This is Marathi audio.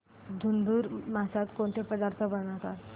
धुंधुर मासात कोणकोणते पदार्थ बनवतात